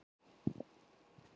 Ég man það allt.